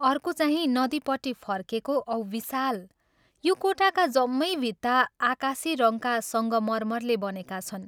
अर्कोचाहिं नदीपट्टि फर्केको औं विशाल यो कोठाका जम्मै भित्ता आकाशी रङ्गका संगमर्मरले बनेका छन्।